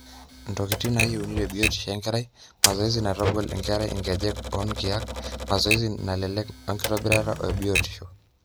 ntokitin naayieuni te biotishu enkerai, mazoezi naitagol enkerai inkejek onkaik, mazoezi naalelek wenkitobirata ebiotishu